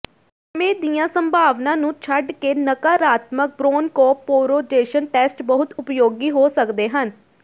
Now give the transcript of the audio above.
ਦਮੇ ਦੀਆਂ ਸੰਭਾਵਨਾਵਾਂ ਨੂੰ ਛੱਡ ਕੇ ਨਾਕਾਰਾਤਮਕ ਬ੍ਰੌਨਕੋਪ ਪੋ੍ਰੋਜੇਸ਼ਨ ਟੈਸਟ ਬਹੁਤ ਉਪਯੋਗੀ ਹੋ ਸਕਦੇ ਹਨ